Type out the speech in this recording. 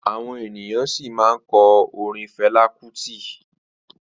Àwọn ènìyàn sì ma kọ orin Felá kútì